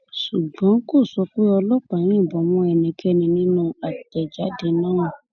ṣùgbọn kò sọ pé ọlọpàá yìnbọn mọ ẹnikẹni nínú àtẹjáde náà